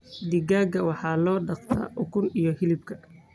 Digaagga waxaa loo dhaqdaa ukunta iyo hilibka.